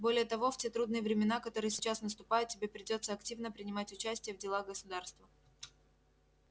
более того в те трудные времена которые сейчас наступают тебе придётся активно принимать участие в делах государства